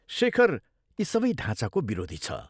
शेखर यी सबै ढाँचाको विरोधी छ।